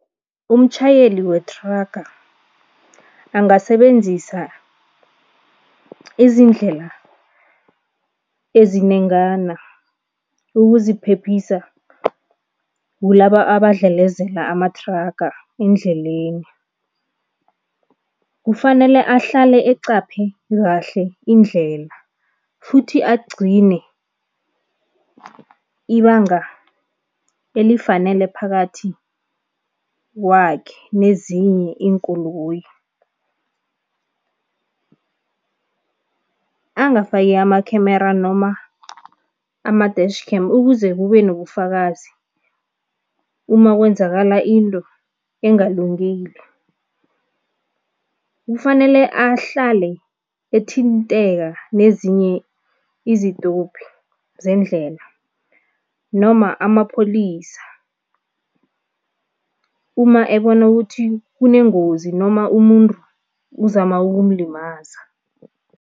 Umtjhayeli wethraga angasebenzisa izindlela ezinengana ukuziphephisa kulaba abadlelezela amathraga endleleni. Kufanele ahlale eqaphe kahle indlela futhi agcine ibanga elifanele phakathi kwakhe nezinye iinkoloyi. Angafaki ama-camera noma ama-dash cam ukuze kube nobufakazi uma kwenzakala into engalungile. Kufanele ahlale ethinteka nezinye izitopi zendlela noma amapholisa uma ebona ukuthi kunengozi noma umuntu uzama ukumlimaza.